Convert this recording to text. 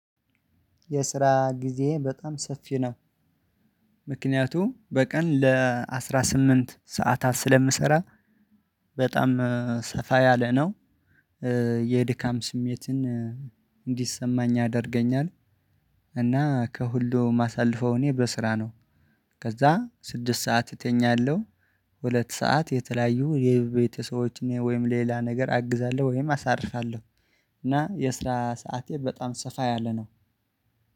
የስራ ጊዜ በጣም ሰፊ ነው። ምክንያቱም በቀን ለአስራስምንት ሰዓታት ስለምሰራ። በጣም ሰፋ ያለ ነው። የድካም ስሜትን እንዲሰማኝ ያደርገኛል። እና ከሁሉ ማሳልፈው እኔ በስራ ነው። ከዛ ስድስት ሰዓት እተኛለሁ። ሁለት ሰዓት የተለያዩ የቤተሰቦችን ወይም ሌላ ነገር አግዛለሁ ወይም አሳርፋለሁ። እና የስራ ሰዓቴ በጣም ሰፋ ያለ ነው።